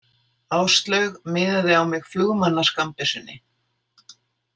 Áslaug miðaði á mig flugmannaskammbyssunni.